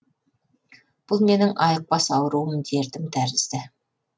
бұл менің айықпас ауруым дертім тәрізді